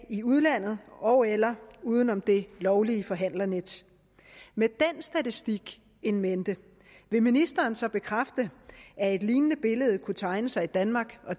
i udlandet ogeller uden om det lovlige forhandlernet med den statistik in mente vil ministeren så bekræfte at et lignende billede kunne tegne sig i danmark og